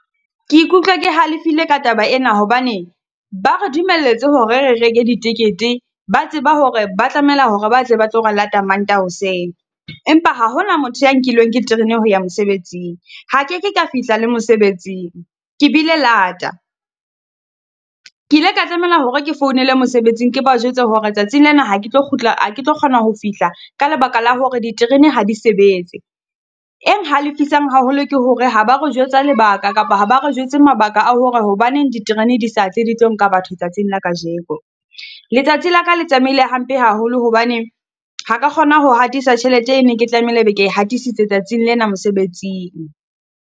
Ke ikutlwa ke halefile ka taba ena hobane, ba re dumeletswe hore re reke ditekete, ba tseba hore ba tlamela hore ba tle ba tlo re lata Mantaha hoseng. Empa ha hona motho e nkilweng ke terene ho ya mosebetsing. Ha ke ke ka fihla le mosebetsing, ke bile lata. Ke ile ka tlamela hore ke founele mosebetsing le ba jwetse hore tsatsing lena, ha ke tlo kgutla, ha ke tlo kgona ho fihla ka lebaka la hore diterene ha di sebetse. Eng halefisang haholo ke hore ha ba re jwetsa lebaka ka, kapa ha ba re jwetse mabaka a hore hobaneng diterene di sa tle di tlo nka batho tsatsing la kajeko. Letsatsi la ka le tsamaile hampe haholo hobane, ha ka kgona ho hatisa tjhelete e ne ke tlamehile be ke e hatisitse tsatsing lena mosebetsing.